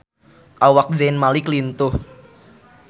Awak Zayn Malik lintuh